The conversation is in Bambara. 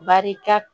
Barika